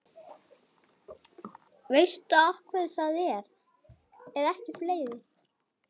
Veistu af hverju það er?